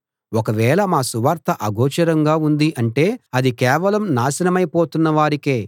ఒకవేళ మా సువార్త అగోచరంగా ఉంది అంటే అది కేవలం నాశనమై పోతున్నవారికే